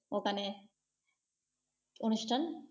ওখানে অনুস্থান।